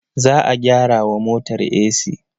Za a gyara wa motar esi.